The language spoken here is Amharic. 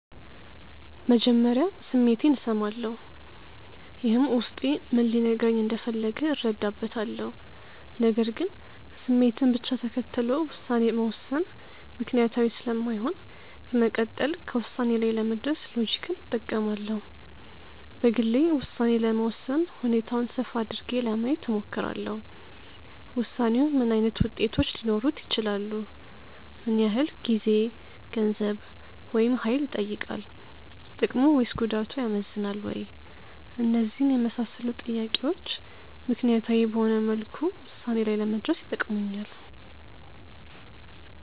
መጀመሪያ ስሜቴን እሰማለሁ። ይህም ውስጤ ምን ሊነግረኝ እንደፈለገ እረዳበታለሁ። ነገር ግን ስሜትን ብቻ ተከትሎ ውሳኔ መወሰን ምክንያታዊ ስለማይሆን በመቀጠል ከውሳኔ ላይ ለመድረስ ሎጂክን እጠቀማለሁ። በግሌ ውሳኔ ለመወሰን ሁኔታውን ሰፋ አድርጌ ለማየት እሞክራለሁ። ውሳኔው ምን ዓይነት ውጤቶች ሊኖሩት ይችላሉ? ምን ያህል ጊዜ፣ ገንዘብ፣ ወይም ሀይል ይጠይቃል። ጥቅሙ ወይስ ጉዳቱ ያመዝናል ወይ? እነዚህን የመሳሰሉ ጥያቄዎች ምክንያታዊ በሆነ መልኩ ውሳኔ ላይ ለመድረስ ይጠቅሙኛል።